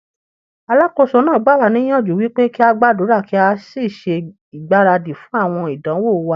Alákóso náà gbà wá níyànjú wípé kí á gbàdúrà kí á sì ṣe ìgbáradì fún àwọn ìdánwò wa.